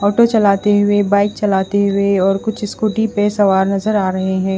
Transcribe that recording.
Auto चलाती हुई bike चलाती हुई और कुछ स्कूटी पे सवार नज़र आ रहे है।